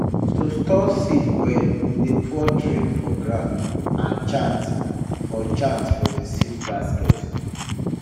to store seed well we dey pour drink for ground and chant for chant for the seed basket